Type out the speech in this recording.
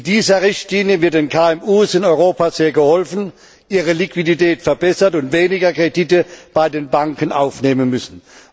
Mit dieser Richtlinie wird den KMU in Europa sehr geholfen, ihre Liquidität verbessert, und sie werden weniger Kredite bei den Banken aufnehmen müssen.